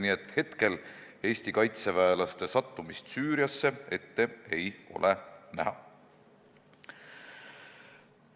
Nii et praegu ei ole Eesti kaitseväelaste sattumist Süüriasse ette näha.